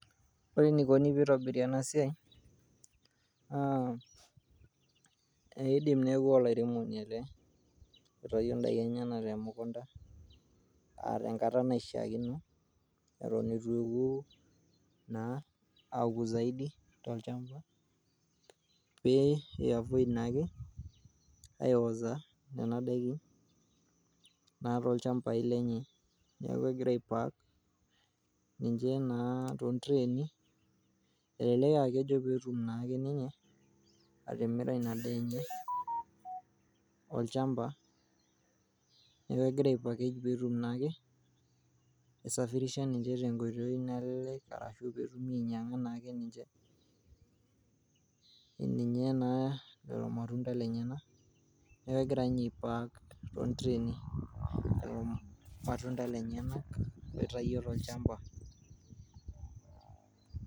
Ore enikoni peitobiri ena siai naa ,idim neaku olairemoni ele oitayio ndaikin enyenak te mukunta. Aa tenkata naishiaakino Eton itu eku ,aku zaidi tolchamba pe ia avoid naake aeoza Nena Daikin naa tolchambai lenye. Niaku egira aipak ninche naa tontreni . Elelek aa kejo naa petum ake ninye atimira Ina daa enye.